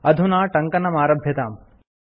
अधुना टङ्कनमारभ्यताम्